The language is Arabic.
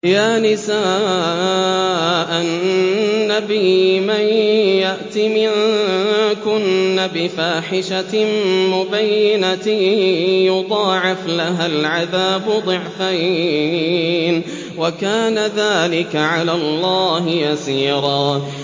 يَا نِسَاءَ النَّبِيِّ مَن يَأْتِ مِنكُنَّ بِفَاحِشَةٍ مُّبَيِّنَةٍ يُضَاعَفْ لَهَا الْعَذَابُ ضِعْفَيْنِ ۚ وَكَانَ ذَٰلِكَ عَلَى اللَّهِ يَسِيرًا